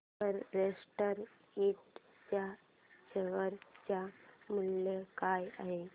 Everest इंड च्या share चे मूल्य काय आहे